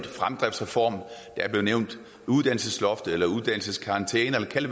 er fremdriftsreformen uddannelsesloftet eller uddannelseskarantæne kald det